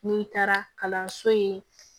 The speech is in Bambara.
N'i taara kalanso in